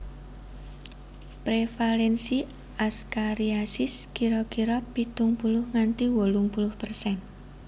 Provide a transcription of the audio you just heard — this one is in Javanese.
Prevalensi askariasis kira kira pitung puluh nganti wolung puluh persen